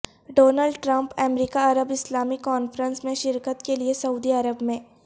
Donald Trump امریکا عرب اسلامی کانفرنس میں شرکت کے لیے سعودی عرب میں